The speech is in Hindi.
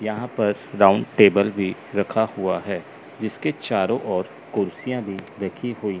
यहां पर राउंड टेबल भी रखा हुआ है जिसके चारों ओर कुर्सियां भी रखी हुई--